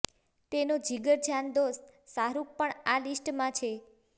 તેનો જીગરજાન દોસ્ત શાહરૂખ પણ આ લીસ્ટમાં છે